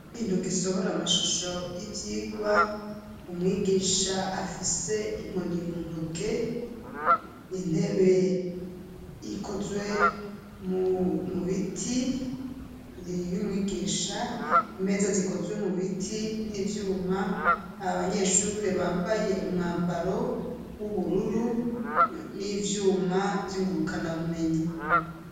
ikintu gisohora amashusho y'ivyigwa umwigisha afise inkoni muntoke intebe ikozwe umubiti y'umwigisha imeza zikozwe mubiti n'ivyuma abanyeshure bambaye umwambaro w'ubururu n'ivyuma ry'ingurukanabumenyi